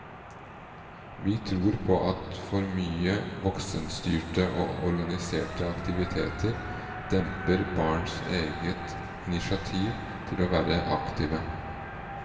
Vi tror på at for mye voksenstyrte og organiserte aktiviteter demper barns eget initiativ til å være aktive.